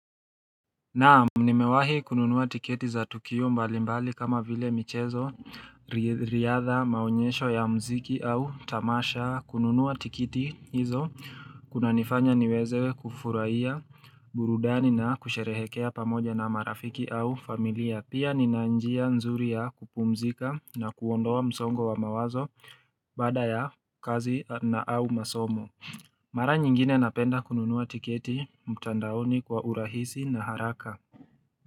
Naam, nimewahi kununua tiketi za tukio mbalimbali kama vile michezo, riadha maonyesho ya mziki au tamasha kununua tikiti hizo, kuna nifanya niweze kufurahia burudani na kusherehekea pamoja na marafiki au familia. Pia nina njia nzuri ya kupumzika na kuondoa msongo wa mawazo baada ya kazi na au masomo. Mara nyingine napenda kununua tiketi mtandaoni kwa urahisi na haraka.